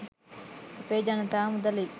අපේ ජනතා මුදලින්